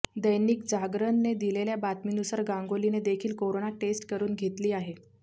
दैनिक जागरणने दिलेल्या बातमीनुसार गांगुलीने देखील कोरोना टेस्ट करून घेतली आहे